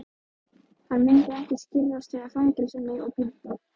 Hann myndi ekki skirrast við að fangelsa mig og pynta.